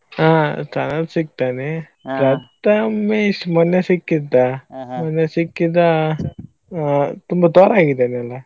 ಆ ಸನತ್ ಸಿಕ್ತಾನೆ ಪ್ರತಮೇಶ್ ಮೊನ್ನೆ ಸಿಕ್ಕಿದ್ದ ಮೊನ್ನೆ ಸಿಕ್ಕಿದ್ದ ತುಂಬಾ ತೊರಾ ಗಿದ್ದಾನಲ್ಲಾ.